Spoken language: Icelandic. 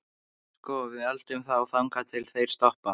Sko. við eltum þá þangað til þeir stoppa.